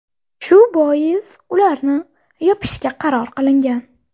Shu bois ularni yopishga qaror qilingan.